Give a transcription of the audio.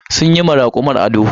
Sun yi ma rakumar ado.